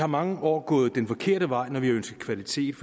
mange år gået den forkerte vej når vi ønskede kvalitet